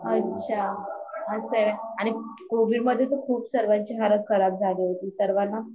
अच्छा अस आहे न आणि कोविड मध्ये तर खूप सर्वांची हलत खराब झाली होती सर्वाना